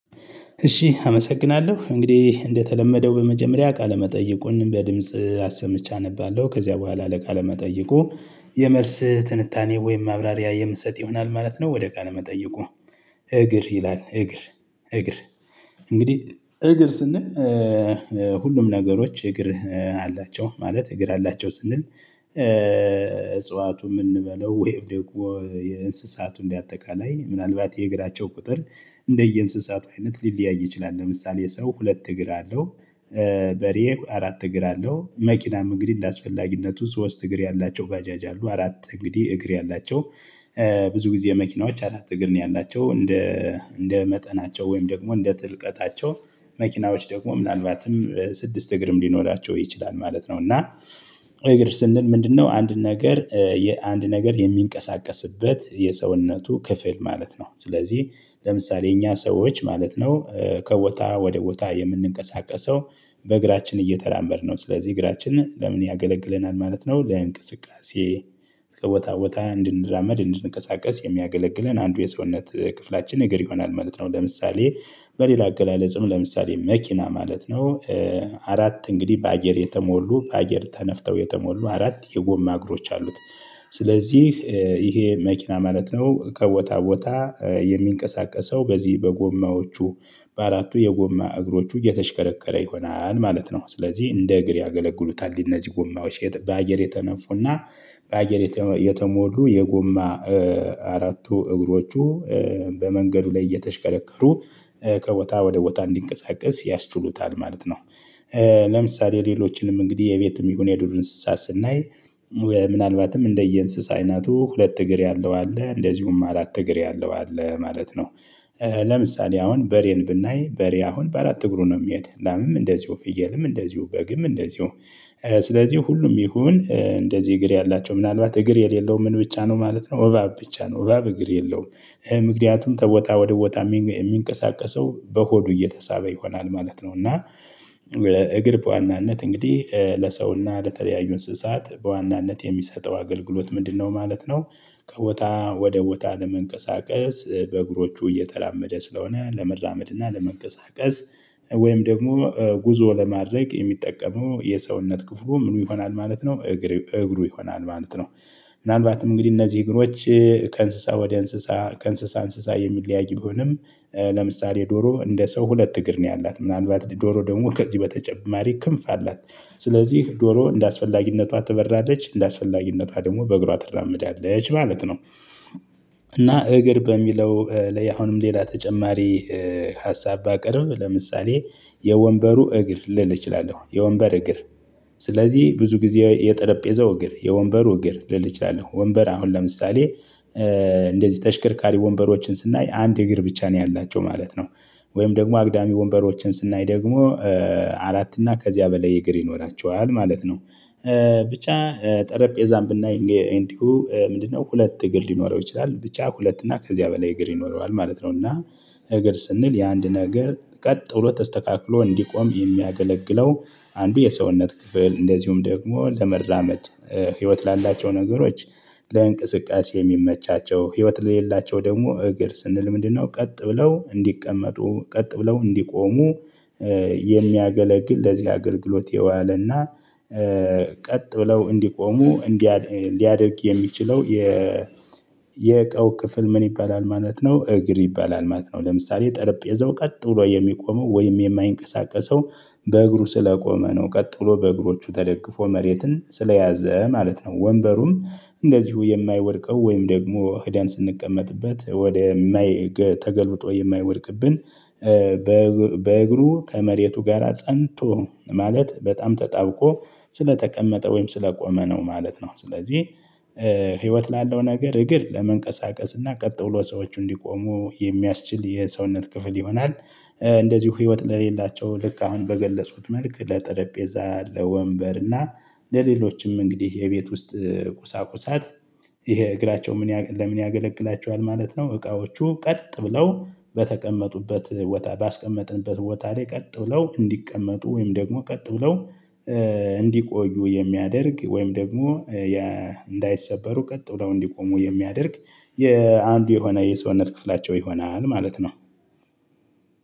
እሺ አመሰግናለሁ እንግዲህ እንደተለመደው በመጀመሪያ ቃለ መጠየቁን በድምጽ አሰምቼ አነባለሁ ከዚያ በኋላ ለቃለ መጠይቁ የመልስ ትንታኔ ወይም ማብራሪያ የምሰጥ ይሆናል ማለት ነው። ወደ ቃለ መጠይቁ። እግር ይላል እግር እግር እንግዲህ እግር ስንል። ሁሉም ነገሮች እግር አላቸው ማለት እግር አላቸው ስንል። እጽዋቱ የምንበለው ወይ ደግሞ የእንስሳቱ እንደ አጠቃላይ ምናልባት የእግራቸው ቁጥር እንደየእንስሳቱ አይነት ሊለያይ ይችላል። ለምሳሌ የሰው ሁለት እግር አለው። በሬ አራት እግር አለው። መኪናም እንግዲህ እንደአስፈላጊነቱ ሶስት እግር ያላቸው ባጃጅ አሉ። አራት እንግዲህ እግር ያላቸው ብዙ ጊዜ መኪናዎች አራት እግር ነው ያላቸው። እንደ እንደ መጠናቸው ወይም ደግሞ እንደ ጥልቀታቸው መኪናዎች ደግሞ ምናልባትም ስድስት እግርም ሊኖራቸው ይችላል ማለት ነው። እና እግር ስንል ምንድነው? አንድ ነገር አንድ ነገር የሚንቀሳቀስበት የሰውነቱ ክፍል ማለት ነው። ስለዚህ ለምሳሌ እኛ ሰዎች ማለት ነው። ከቦታ ወደ ቦታ የምንንቀሳቀሰው በእግራችን እየተራመድን ነው ስለዚህ እግራችንን ለምን ያገለግለናል ማለት ነው። ለእንቅስቃሴ ከቦታ ቦታ እንድንራመድ እንድንቀሳቀስ የሚያገለግለን አንዱ የሰውነት ክፍላችን ነገር ይሆናል ማለት ነው። ለምሳሌ በሌላ አገላለጽም ለምሳሌ መኪና ማለት ነው። አራት እንግዲህ በአገር የተሞሉ በአገር ተነፍተው የተሞሉ አራት የጎማ እግሮች አሉት። ስለዚህ ይሄ መኪና ማለት ነው ከቦታ ቦታ የሚንቀሳቀሰው በዚህ በጎማዎቹ በአራቱ የጎማ እግሮቹ እየተሽከረከረ ይሆናል ማለት ነው። ስለዚህ እንደ እግር ያገለግሉታል እነዚህ ጎማዎች በአየር የተነፉና በአየር የተሞሉ የጎማ አራቱ እግሮቹ በመንገዱ ላይ እየተሽከረከሩ ከቦታ ወደ ቦታ እንዲንቀሳቀስ ያስችሉታል ማለት ነው። ለምሳሌ ሌሎችንም እንግዲህ የቤትም ይሁን የዱር እንስሳ ስናይ። ምናልባትም እንደየ እንስሳ አይነቱ ሁለት እግር ያለው አለ እንደዚሁም አራት እግር ያለው አለ ማለት ነው። ለምሳሌ አሁን በሬን ብናይ በሬ አሁን በአራት እግሩ ነው የሚሄድ ላምም እንደዚሁ ፍየልም እንደዚሁ በግም እንደዚሁ። ስለዚሁ ሁሉም ይሁን እንደዚህ እግር ያላቸው ምናልባት እግር የሌለው ምን ብቻ ነው ማለት ነው። እባብ ብቻ ነው እባብ እግር የለውም። ምክንያቱም ከቦታ ወደ ቦታ የሚንቀሳቀሰው በሆዱ እየተሳበ ይሆናል ማለት ነው። እና እግር በዋናነት እንግዲህ ለሰውና ለተለያዩ እንስሳት በዋናነት የሚሰጠው አገልግሎት ምንድነው ማለት ነው? ከቦታ ወደ ቦታ ለመንቀሳቀስ በእግሮቹ እየተራመደ ስለሆነ ለመራመድ እና ለመንቀሳቀስ። ወይም ደግሞ ጉዞ ለማድረግ የሚጠቀሙ የሰውነት ክፍሉ ምኑ? ይሆናል ማለት ነው እግሩ ይሆናል ማለት ነው። ምናልባትም እንግዲህ እነዚህ እግሮች ከእንስሳ ወደ እንስሳ ከእንስሳ እንስሳ የሚለያይ ቢሆንም። ለምሳሌ ዶሮ እንደ ሰው ሁለት እግር ነው ያላት ምናልባት ዶሮ ደግሞ ከዚህ በተጨማሪ ክንፍ አላት። ስለዚህ ዶሮ እንደአስፈላጊነቷ ትበራለች እንደአስፈላጊነቷ ደግሞ በእግሯ ትደራመዳለች ማለት ነው። እና እግር በሚለው ላይ አሁንም ሌላ ተጨማሪ። ሀሳብ ባቀርብ ለምሳሌ የወንበሩ እግር ልል እችላለሁ የወንበር እግር። ስለዚህ ብዙ ጊዜ የጠረጴዛው እግር የወንበሩ እግር ልል እችላለሁ ወንበር አሁን ለምሳሌ እንደዚህ ተሽከርካሪ ወንበሮችን ስናይ አንድ እግር ብቻ ነው ያላቸው ማለት ነው። ወይም ደግሞ አግዳሚ ወንበሮችን ስናይ ደግሞ አራት እና ከዚያ በላይ እግር ይኖራቸዋል ማለት ነው። ብቻ ጠረጴዛም ብናይ እንዲሁ ምንድነው? ሁለት እግር ሊኖረው ይችላል ብቻ ሁለት እና ከዚያ በላይ እግር ይኖረዋል ማለት ነው። እና እግር ስንል የአንድ ነገር ቀጥ ብሎ ተስተካክሎ እንዲቆም የሚያገለግለው አንዱ የሰውነት ክፍል እንደዚሁም ደግሞ ለመራመድ። ህይወት ላላቸው ነገሮች ለእንቅስቃሴ የሚመቻቸው ህይወት ለሌላቸው ደግሞ እግር ስንል ምንድነው? ቀጥ ብለው እንዲቀመጡ ቀጥ ብለው እንዲቆሙ የሚያገለግል ለዚህ አገልግሎት የዋለና። ቀጥ ብለው እንዲቆሙ ሊያደርግ የሚችለው የ የቀው ክፍል ምን ይባላል ማለት ነው? እግር ይባላል ማለት ነው። ለምሳሌ ጠረጴዛው ቀጥ ብሎ የሚቆመው ወይም የማይንቀሳቀሰው በእግሩ ስለቆመ ነው ቀጥ ብሎ በእግሮቹ ተደግፎ መሬትን ስለያዘ ማለት ነው። ወንበሩም እንደዚሁ የማይወድቀው ወይም ደግሞ ህደን ስንቀመጥበት ወደማይ ተገልብጦ የማይወድቅብን። በእግሩ ከመሬቱ ጋራ ፀንቶ ማለት በጣም ተጣብቆ ስለተቀመጠ ወይም ስለቆመ ነው ማለት ነው። ስለዚህ ህይወት ላለው ነገር እግር ለመንቀሳቀስ እና ቀጥ ብሎ ሰዎች እንዲቆሙ የሚያስችል የሰውነት ክፍል ይሆናል። እንደዚሁ ህይወት ለሌላቸው ልክ አሁን በገለጹት መልክ ለጠረጴዛ ለወንበር እና ለሌሎችም እንግዲህ የቤት ውስጥ ቁሳቁሳት። ይሄ እግራቸው ምን ለምን ያገለግላቸዋል ማለት ነው? እቃዎቹ ቀጥ ብለው በተቀመጡበት ባስቀመጥንበት ቦታ ላይ ቀጥ ብለው እንዲቀመጡ ወይም ደግሞ ቀጥ ብለው እንዲቆዩ የሚያደርግ ወይም ደግሞ እንዳይሰበሩ ቀጥ ብለው እንዲቆሙ የሚያደርግ የአንዱ የሆነ የሰውነት ክፍላቸው ይሆናል ማለት ነው።